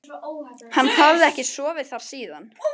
Hann hafði ekki sofið þar síðan.